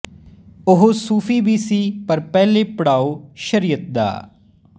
ਉਹ ਸੂਫ਼ੀ ਵੀ ਸੀ ਪਰ ਪਹਿਲੇ ਪੜਾਉ ਸ਼ਰੀਅਤ ਦਾ